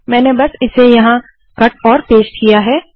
मैंने बस इसे यहाँ कट और पेस्ट किया है